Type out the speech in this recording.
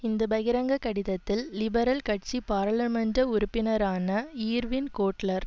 இந்த பகிரங்க கடிதத்தில் லிபரல் கட்சி பாராளுமன்ற உறுப்பினரான ஈர்வின் கோட்லர்